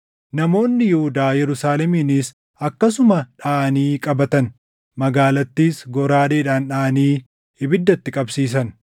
Namoonni Yihuudaa Yerusaalemiinis akkasuma dhaʼanii qabatan. Magaalattiis goraadeedhaan dhaʼanii ibidda itti qabsiisan.